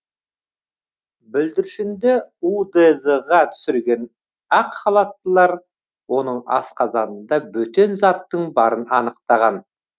бүлдіршінді удз ға түсірген ақ халаттылар оның асқазанында бөтен заттың барын анықтаған